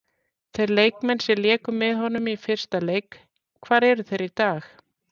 Þeir leikmenn sem léku með honum í hans fyrsta leik, hvar eru þeir í dag?